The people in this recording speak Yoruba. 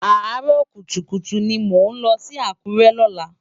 Àárò kútúkútú ni mó nlò si Akure lòlá